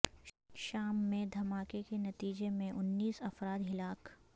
شام میں دہماکے کے نتیجے میں انیس افراد ہلاک